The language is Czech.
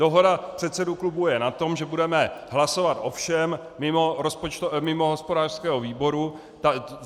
Dohoda předsedů klubů je na tom, že budeme hlasovat o všem mimo hospodářského výboru.